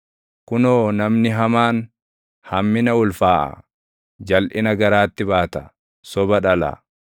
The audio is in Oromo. Kunoo, namni hamaan hammina ulfaaʼa; jalʼina garaatti baata; soba dhala.